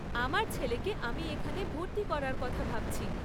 আমার ছেলেকে আমি এখানে ভর্তি করার কথা ভাবছি।